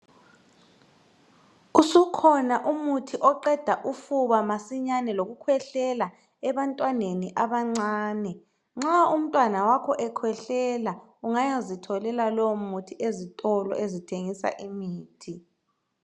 Usukhona umuthi oqeda ufuba masinyane lokukhwehlela ebantwaneni abancane. Nxa umntwana wakho ekhwehlela ungayazitholela lowo muthi ezitolo ezithengisa imithi.